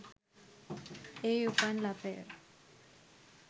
ඒ උපන් ලපය